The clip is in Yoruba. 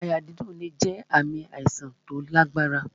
Àyà dídùn lè jẹ ààmì àìsàn tí ó lágbára